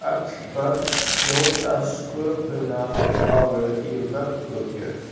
Öll börn hljóta sköpunargáfu í vöggugjöf.